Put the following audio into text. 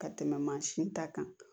Ka tɛmɛ mansin ta kan